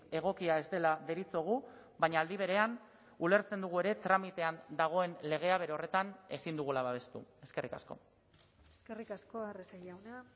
egokia ez dela deritzogu baina aldi berean ulertzen dugu ere tramitean dagoen legea bere horretan ezin dugula babestu eskerrik asko eskerrik asko arrese jauna